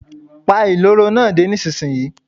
Pa ìloro náà dé, nísinsìnyí.